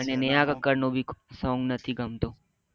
મને નેહા કક્કર ના સોંગ ભી નથી ગમતું